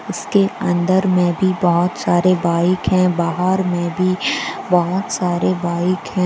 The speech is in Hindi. इसके अंदर मैं भी बहुत सारे बाइक हैं बाहर में भी बहुत सारे बाइक हैं।